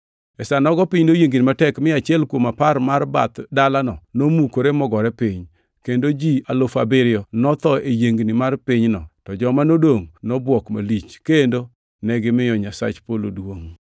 E sa nogo piny noyiengni matek, mi achiel kuom apar mar bath dalano nomukore mogore piny, kendo ji alufu abiriyo notho e yiengni mar pinyno to joma nodongʼ nobwok malich, kendo negimiyo Nyasach Polo duongʼ!